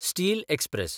steel express